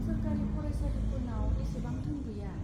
सोरखारि फरायसालिफोरनाव एसेबां धोन गैया।